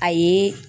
A ye